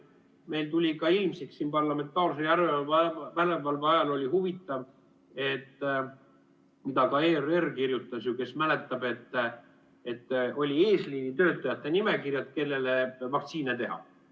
Meil tuli ilmsiks parlamentaarse järelevalve ajal huvitav asi, millest ka ERR kirjutas, kes mäletab, et olid eesliinitöötajate nimekirjad, keda vaktsineerida.